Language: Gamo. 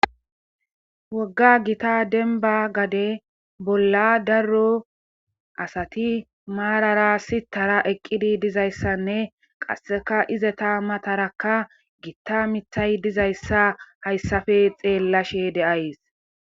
wogga gita denba gade bolla darro asati maarara sitara eqqidi dizayssanne qasseka izeta matarakka gitta mithay dizayssa hayssafe xeellashe deays